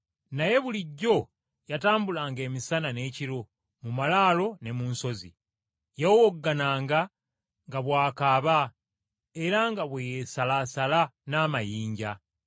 Naye bulijjo yatambulanga emisana n’ekiro mu malaalo ne mu nsozi. Yawowoggananga nga bw’akaaba era nga bwe yeesalaasala n’amayinja.